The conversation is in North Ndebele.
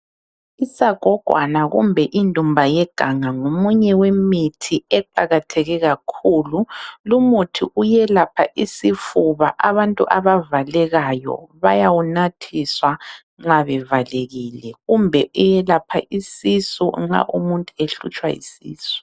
Isagogwana kumbe indumba yeganga ngomunye wemithi eqakatheke kakhulu . Lumuthi uyelapha isifuba abantu abavalekayo bayawunathiswa nxa bevalekile kumbe iyelapha isisu nxa umuntu ehlutshwa yisisu.